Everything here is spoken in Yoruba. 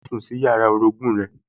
Lọ sùn sí yàrá orogún-ùn rẹ